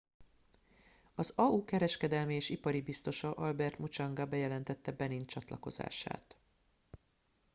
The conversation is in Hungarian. az au kereskedelmi és ipari biztosa albert muchanga bejelentette benin csatlakozását